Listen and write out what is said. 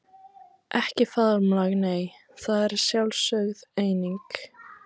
Ekki faðmlag nei, það er sjálfsögð eining.